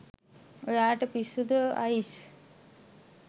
ඔයාට පිස්සුද අයිෂ්